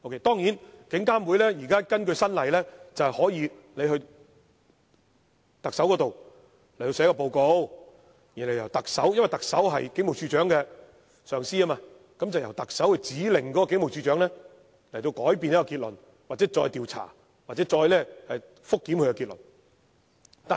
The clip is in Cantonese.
當然，根據最新的法例，監警會可向特首提交報告，因為特首是警務處處長的上司，由特首指令警務處處長改變結論、再作調查或覆檢結論。